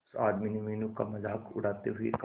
उस आदमी ने मीनू का मजाक उड़ाते हुए कहा